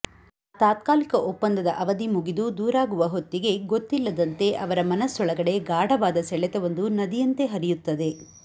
ಆ ತಾತ್ಕಾಲಿಕ ಒಪ್ಪಂದದ ಅವದಿ ಮುಗಿದು ದೂರಾಗುವ ಹೊತ್ತಿಗೆ ಗೊತ್ತಿಲ್ಲದಂತೆ ಅವರ ಮನಸ್ಸೊಳಗಡೆ ಗಾಢವಾದ ಸೆಳೆತವೊಂದು ನದಿಯಂತೆ ಹರಿಯುತ್ತದೆ